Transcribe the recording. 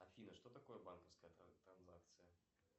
афина что такое банковская транзакция